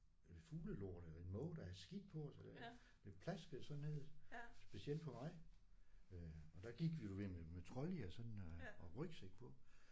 Øh fuglelort eller en måge der havde skidt på os eller det plaskede sådan ned specielt på mig øh. Og der gik vi jo ved med med trolleyer sådan og og med rygsæk på